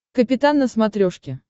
капитан на смотрешке